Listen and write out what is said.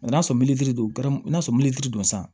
n'a sɔrɔ don n'a sɔrɔ don san